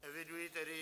Eviduji tedy...